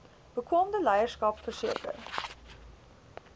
bekwame leierskap verseker